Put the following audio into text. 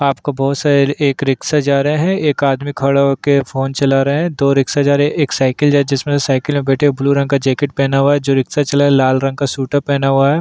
आपको बहुत सारे एक रिक्शा जा रहा है एक आदमी खड़ा हो के फोन चला रहा है दो रिक्शा जा रही हैं एक साईकिल जा रही है जिसमें से साईकिल में बैठे हुए ब्लू रंग का जैकेट पहना हुआ है जो रिक्सा चला रहा है उसने लाल रंग का स्वेटर पहना हुआ है।